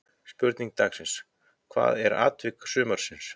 Spurning dagsins: Hvað er atvik sumarsins?